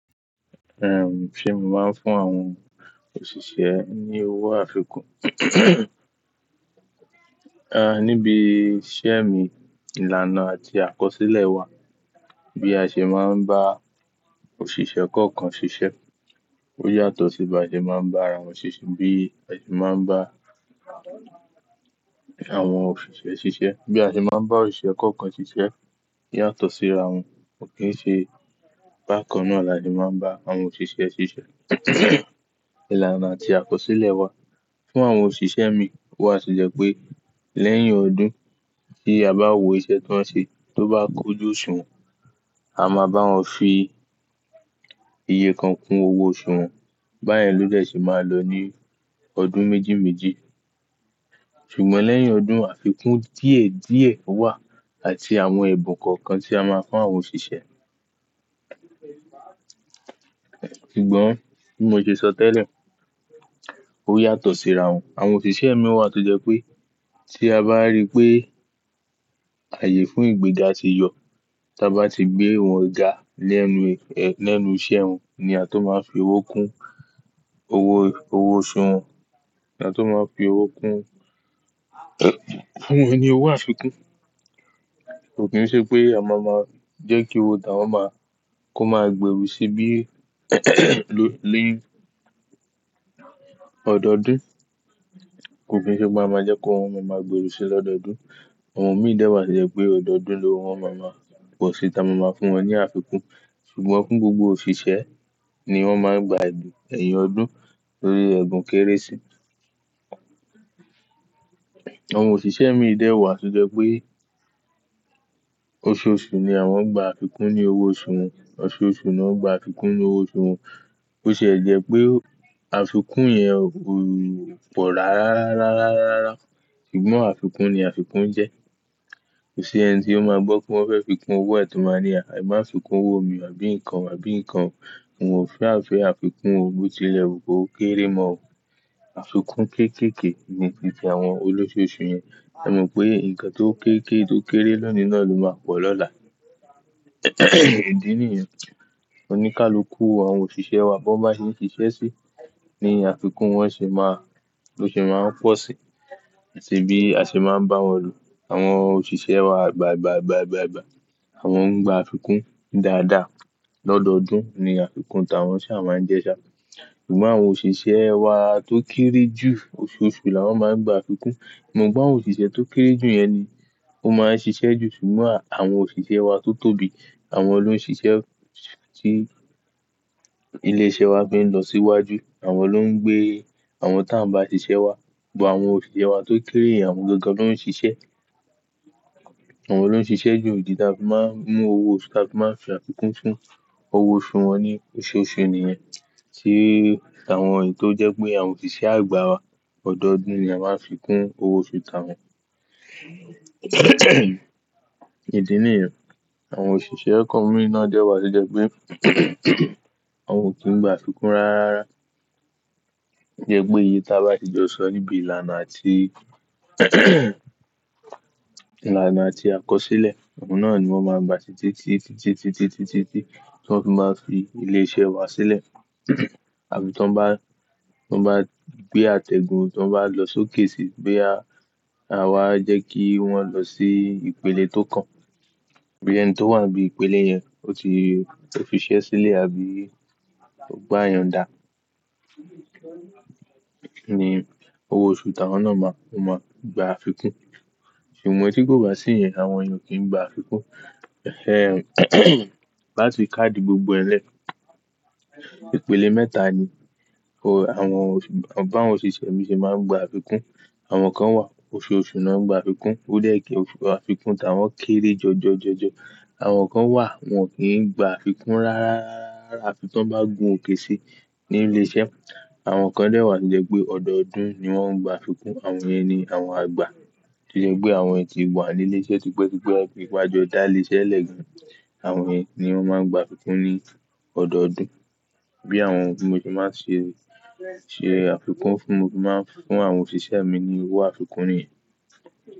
Ehn, ṣé mo máa ń fún àwọn òṣìṣẹ́ ní owó àfikún? A, níbi iṣẹ́ mi, ìlànà àti àkọsílẹ̀ wà bí a ṣe máa ń bá òṣìṣẹ́ kọ̀ọ̀kan ṣiṣẹ́. Ó yàtọ̀ sí bí a ṣe máa ń bá àwọn òṣìṣẹ́ bí a ṣe máa ń bá àwọn òṣìṣẹ́ ṣiṣẹ́. Bí a ṣe máa ń bá òṣìṣẹ́ kọ̀ọ̀kan ṣiṣẹ́ yàtọ̀ sí ra wọn. Kò kí n ṣe bákan náà la ṣe máa ń bá àwọn òṣìṣẹ́ ṣiṣẹ́. Ìlànà àti àkọsílẹ̀ wà fún àwọn òṣìṣẹ́ mi. Ó sì jẹ́ pé lẹ́yìn ọdún tí a bá wo iṣẹ́ tí wọ́n ṣe tó bá kún jú òṣùwọ̀n, a máa bá wọn fi iye kan kún owó oṣù wọn. Báyìí ló dẹ̀ ṣe máa lọ ní ọdún méjì méjì. Ṣùgbọ́n lẹ́yìn ọdún, àfikún díẹ̀ díẹ̀ wà àti àwọn ẹ̀bùn kọ̀ọ̀kan tí a máa ń fún àwọn òṣìṣẹ́. Ṣùgbọ́n bí mo ṣe sọ tẹ́lẹ̀, ó yàtọ̀ síra wọn. Àwọn òṣìṣẹ́ mi wà tó jẹ́ pé tí a bá rí pé ààyè fún ìgbéga ti yọ, tí a bá ti gbé ìwọ̀n ga lẹ́nu, lẹ́nu iṣẹ́ wọn ni a tó máa fi owó kún owó, owó oṣù wọn. La tó máa fi owó kún fún wọn ni owó àfikún. Kò kí n ṣe pé a máa máa jẹ́ kí owó ta wọn máa kó máa gbèrú sí bí ló, ló ọdọọdún. Kò kí n ṣe pé a máa jẹ́ kó wọn máa máa gbèrú sí lọ́dọọdún. Àwọn mi dè wá to jẹ́ pé ọdọọdún lówo wọn máa máa fò ṣí ta máa máa fún wọn ní àfikún. Ṣùgbọ́n fún gbogbo òṣìṣẹ́ ni wọ́n máa ń gba ẹ̀bùn ẹ̀yìn ọdún lórí ẹ̀bùn Kérésì. Àwọn òṣìṣẹ́ mi dẹ́ wá sì jẹ́ pé oṣooṣù ni àwọn ń gba àfikún ní owó oṣù wọn. Oṣooṣù náà ń gba àfikún ní owó oṣù wọn. BÓ sìe jẹ́ pé àfikún yẹn ò pọ̀ rárá, rárá, rárá, rárá. Ṣùgbọ́n àfikún ni àfikún jẹ́. Kò sí ẹni tí ó máa gbọ́ pé wọ́n fẹ́ fi kún owó ẹ̀ tí ó máa ní, "À ẹ má fìkún owó mi, àbí nǹkan, àbí nǹkan." Mo fẹ́, àfẹ́ àfikún òbótilẹ̀, òbókéré mọ́. Àfikún kéékèèké ni ti àwọn olóṣooṣù yẹn. A mọ pé nǹkan tó kéékèèké, tó kéré lónìí náà ló máa pọ̀ lọ́la. Ìdí nìyẹn. Oníkálukú àwọn òṣìṣẹ́ wa bó bá ṣe ń ṣiṣẹ́ sí ni àfikún wọn ṣe máa, ló ṣe máa ń pọ̀ sí. Àti bí a ṣe máa ń bá wọn lò. Àwọn òṣìṣẹ́ wa gbà, gbà, gbà, gbà, gbà. Àwọn ń gba àfikún dáadáa. Lọ́dọọdún ni àfikún ta wọ́n sì a máa ń jẹ́ ṣá. Ṣùgbọ́n àwọn òṣìṣẹ́ wá tó kéré jù oṣooṣù la wọ́n máa ń gba àfikún. Mọ̀ pe àwọn òṣìṣẹ́ tó kéré jù yẹn ni ó máa ń ṣiṣẹ́ jù. Ṣùgbọ́n àwọn òṣìṣẹ́ wá tó tóbi, àwọn ló ń ṣiṣẹ́ tí ilé iṣẹ́ wa fi ń lọ síwájú. Àwọn ló ń gbé àwọn táa ń bá ṣiṣẹ́ wá. Gbo àwọn òṣìṣẹ́ wá tó kéré, àwọn gẹ́gẹ́ ló ń ṣiṣẹ́. Àwọn ló ń ṣiṣẹ́ jù, níta fi máa ń mú owó, níta fi máa ń fi àfikún fún owó oṣù wọn ní oṣooṣù nìyẹn. Tí àwọn èyí tó jẹ́ pé àwọn òṣìṣẹ́ àgbà wa, ọdọọdún ni a máa ń fi kún owó oṣú ta wọ́n. Ìdí nìyẹn. Àwọn òṣìṣẹ́ kan mìíràn jẹ́ wá sì jẹ́ pé àwọn ò kí ń gba àfikún rárá. Jẹ́ pé iye tí a bá ti jọ sọ níbi ìlànà àti ìlànà àti àkọsílẹ̀, àwọn náà ni wọ́n máa ń gba títí, títí, títí, títí, títí, tí wọ́n fi máa ń fi ilé iṣẹ́ wa sílẹ̀. Àbí tó bá, tó bá gbé àtẹ̀gùn, tó bá lọ sókèsì, boya, àwa jẹ́ kí wọ́n lọ sí ìpele tó kàn. Bí ẹni tó wà ní ìpele yẹn, ó ti fi iṣẹ́ sílẹ̀ àbí ó gbá iyọ̀ndà ni owó oṣù ta wọ́n náà máa, ó máa gba àfikún. Ṣùgbọ́n tí kò bá sí yẹn, àwọn yen ó kì í gba àfikún. Láti ká di gbogbo ẹlẹ́. Ìpele mẹ́ta ni àwọn òṣìṣ, àwọn báwọn òṣìṣẹ́ mi ṣe máa ń gba àfikún. Àwọn kan wà oṣooṣù náà ń gba àfikún. Ó dẹ́ẹ̀kì àfikún ta wọ́n kéré jọjọ, jọjọ. Àwọn kan wà wọn kì í gba àfikún rárá, rárá, rárá, àfi tó bá gun òkè si ní ilé iṣẹ́. Àwọn kan dè wá sì jẹ́ pé ọdọọdún ni wọ́n ń gba àfikún. Àwọn yẹn ni àwọn àgbà. Ṣì jẹ́ pé àwọn ẹ́ ti wà ní ilé iṣẹ́ ti pẹ́, ti pẹ́, wọ́n ti gbajúmọ̀ dá ilé iṣẹ́ lẹ́gan. Àwọn yẹ́n ni wọ́n máa ń gba àfikún ní ọdọọdún. Bí àwọn, mo sì máa ń ṣe, ṣe àfikún fún, mo sì máa ń fún àwọn òṣìṣẹ́ mi ni owó àfikún yẹn.